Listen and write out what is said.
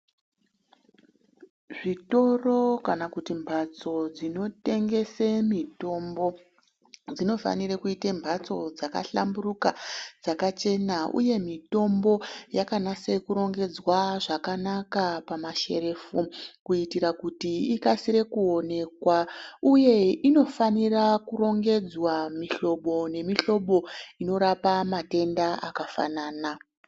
Zvitoro kana kuti mbatso dzinotengese mitombo dzinofanire kuite mhatso dzakahlamburuka dzakachena uye mitombo yakanase kurongedzwa zvakanaka pamasherefu kuitira kuti ikasire kuonekwa uye inofanira kurongedzwa mihlobo nemihlobo inorapa matenda akafanana.